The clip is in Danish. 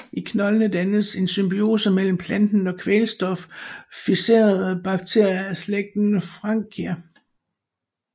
I knoldene dannes en symbiose mellem planten og kvælstoffikserende bakterier af slægten Frankia